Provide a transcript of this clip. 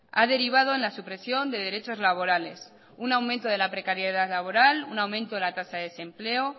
ha derivado en la supresión de derechos laborales un aumento de la precariedad laboral un aumento en la tasa de desempleo